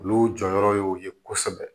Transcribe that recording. Olu jɔyɔrɔ y'o ye kosɛbɛ